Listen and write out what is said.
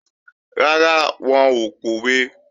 Rárá, wọn ò pòwe